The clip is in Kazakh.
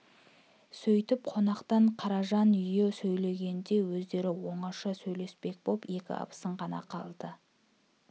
сөйтіп қонақтан қаражан үйі сейілгенде өздері оңаша сөйлеспек боп екі абысын ғана қалды